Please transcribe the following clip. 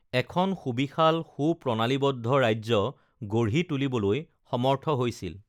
এখন সুবিশাল সুপ্ৰণালীবদ্ধ ৰাজ্য গঢ়ি তুলিবলৈ সমৰ্থ হৈছিল